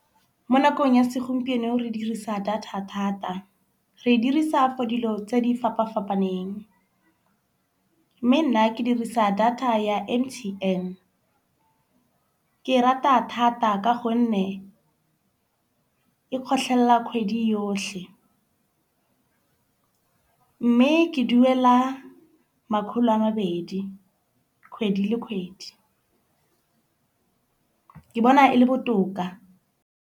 Mo nakong ya segompieno re dirisa data thata. Re e dirisa for dilo tse di fapafapaneng. Mme nna ke dirisa data ya M_T_N. Ke e rata thata ka gonne e kgotlhela kgwedi yotlhe. Mme ke duela makgolo a mabedi kgwedi le kgwedi. Ke bona e le botoka.